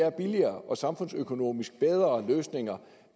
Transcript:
er billigere og samfundsøkonomisk bedre løsninger